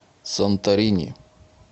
санторини